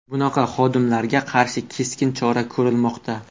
Bunaqa xodimlarga qarshi keskin chora ko‘rilmoqda.